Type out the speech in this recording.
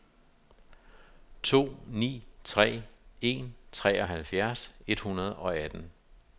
to ni tre en treoghalvfjerds et hundrede og atten